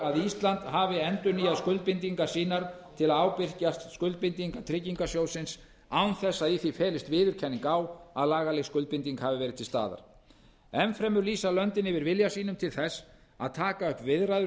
að ísland hafi endurnýjað skuldbindingar sínar til að ábyrgjast skuldbindingar tryggingarsjóðsins án þess að í því felist viðurkenning á að lagaleg skuldbinding hafi verið til staðar enn fremur lýsa löndin yfir vilja sínum til þess að taka upp viðræður við